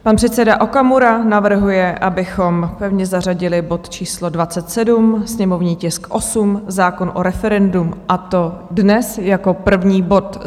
Pan předseda Okamura navrhuje, abychom pevně zařadili bod číslo 27, sněmovní tisk 8, zákon o referendu, a to dnes jako první bod.